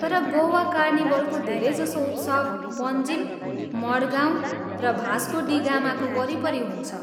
तर गोवा कार्निभलको धेरैजसो उत्सव पन्जिम, मडगाउँ र भास्को डी गामाको वरिपरि हुन्छ।